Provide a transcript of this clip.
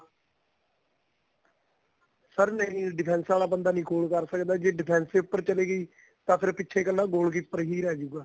sir ਨਹੀਂ defense ਵਾਲਾ ਬੰਦਾ ਨਹੀਂ goal ਕਰ ਸਕਦਾ ਜੇ defense ਈ ਉਪਰ ਚਲੀ ਗਈ ਤਾਂ ਫੇਰ ਪਿੱਛੇ ਕੱਲਾ goal keeper ਹੀ ਰਹਿ ਜੁਗਾ